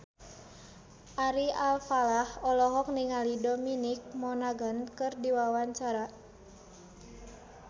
Ari Alfalah olohok ningali Dominic Monaghan keur diwawancara